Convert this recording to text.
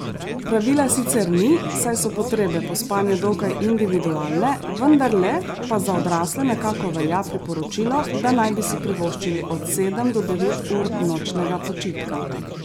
Pravila sicer ni, saj so potrebe po spanju dokaj individualne, vendarle pa za odrasle nekako velja priporočilo, da naj bi si privoščili od sedem do devet ur nočnega počitka.